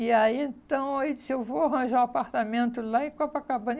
E aí, então, ele disse, eu vou arranjar um apartamento lá em Copacabana.